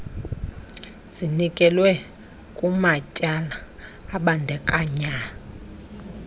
zinikezelwe kumatyala abandakanya